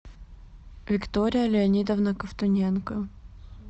виктория леонидовна ковтуненко